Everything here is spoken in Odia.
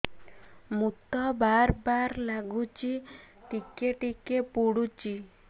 ମୁତ ବାର୍ ବାର୍ ଲାଗୁଚି ଟିକେ ଟିକେ ପୁଡୁଚି